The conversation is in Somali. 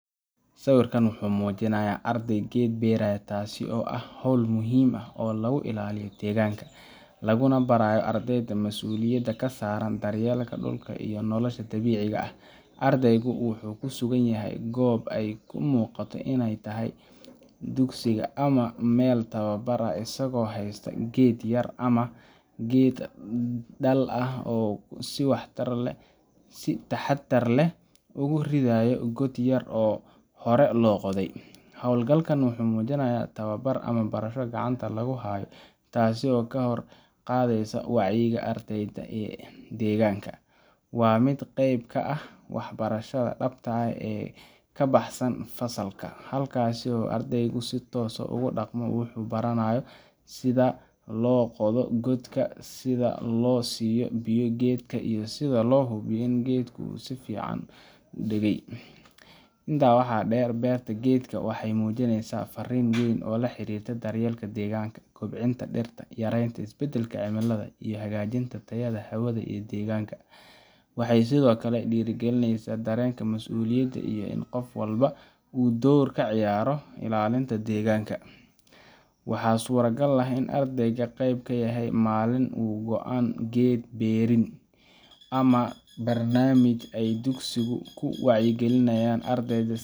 Sawirka wuxuu muujinayaa arday geed beeraya, taas oo ah hawl muhiim ah oo lagu ilaalinayo deegaanka, laguna barayo ardayda masuuliyadda ka saaran daryeelka dhulka iyo nolosha dabiiciga ah. Ardaygu wuxuu ku sugan yahay goob ay u muuqato inay tahay dugsiga ama meel tababar ah, isagoo haysta geed yar ama geed dhal ah oo uu si taxaddar leh ugu ridayo god yar oo hore loo qoday. Hawlgalkaan wuxuu muujinayaa tababar ama barasho gacanta lagu hayo, taas oo kor u qaadaysa wacyiga ardayga ee deegaanka. Waa mid qayb ka ah waxbarashada dhabta ah ee ka baxsan fasalka, halkaas oo ardaygu si toos ah ugu dhaqmo wuxuu baranayo, : sida loo qodo godka, sida loo siiyo biyo geedka, iyo sida loo hubiyo in geedku si fiican u degay. Intaa waxaa dheer, beerta geedka waxay muujinaysaa farriin weyn oo la xiriirta daryeelka deegaanka, kobcinta dhirta, yareynta isbedelka cimilada, iyo hagaajinta tayada hawada iyo deegaanka. Waxay sidoo kale dhiirrigelisaa dareenka mas’uuliyadda iyo in qof walba uu door ka ciyaari karo ilaalinta deegaanka. Waxaa suuragal ah in ardayga qeyb ka yahay maalin u go’an geed beerin, ama barnaamij ay dugsigu ku wacyigelinayaan ardayda.